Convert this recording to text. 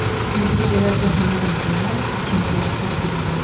İndi gecələr cəhənnəmdir deyə ikinci yarpaq dilləndi.